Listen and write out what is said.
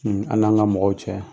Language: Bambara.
An'an ka mɔgɔw cɛ